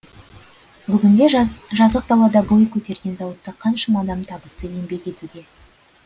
бүгінде жазық далада бой көтерген зауытта қаншама адам табысты еңбек етуде